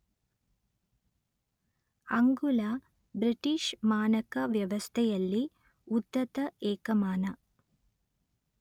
ಅಂಗುಲ ಬ್ರಿಟಿಷ್ ಮಾನಕ ವ್ಯವಸ್ಥೆಯಲ್ಲಿ ಉದ್ದದ ಏಕಮಾನ